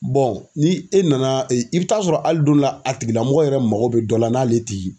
ni e nana i bi taa sɔrɔ hali don dɔ la a tigi lamɔgɔ yɛrɛ mago bɛ dɔ la n'ale tɛ ye